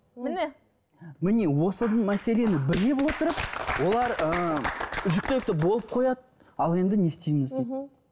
міне міне осы мәселені біле отырып олар ыыы жүктілікті болып қояды ал енді не істейміз дейді мхм